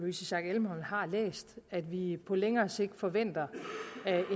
louise schack elholm har læst at vi på længere sigt forventer